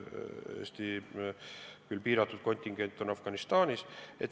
Eesti piiratud kontingent on Afganistanis.